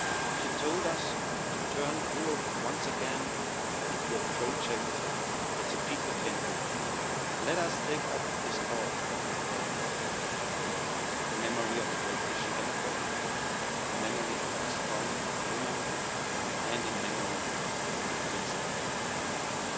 She told us to turn Europe once again into a project that the people can dream of. Let us take up this call of Nicole Fontaine in memory of a great Christian Democrat, in memory of a strong woman, and in memory of a convinced European.